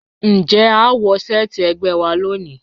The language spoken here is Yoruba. Njẹ́ à wọ̀ sẹ̀ẹtí ẹ̀gbẹ́ wà lónì?